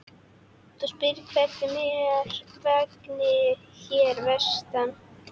Þú spyrð hvernig mér vegni hér vestra.